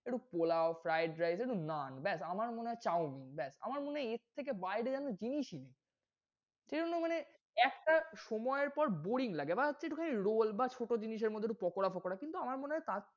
একটু পোলাও fried rice একটু nan ব্যাস, আমার মনে হয় chow-mein ব্যাস, আমার মনে হয় এর থেকে বাইরে যেন জিনিসই নেই, এজন্য মানে একটা সময় এর পর boring লাগে। বা হচ্ছে একটুখানি roll বা ছোট জিনিস এর মধ্যে পকোরা ফকোরা কিন্তু আমার মনে হয় তার,